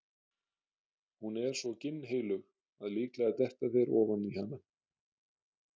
Hún er svo ginnheilög að líklega detta þeir ofan í hana.